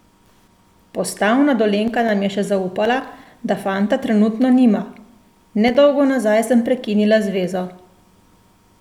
Postavna Dolenjka nam je še zaupala, da fanta trenutno nima: "Ne dolgo nazaj sem prekinila zvezo.